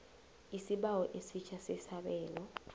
isibawo esitjha sesabelo